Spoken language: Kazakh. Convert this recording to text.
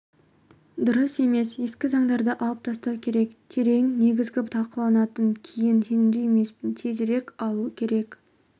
дұрыс емес ескі заңдарды алып тастау керек терең негізгі талқылаудан кейін сенімді емеспін тезірек алу керек